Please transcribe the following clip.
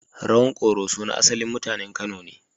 Rawan Koroso na asalin mutanen Kano ne.